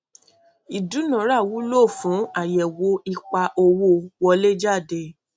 ìdúnára wulo fún àyẹwò ipa owó wọléjáde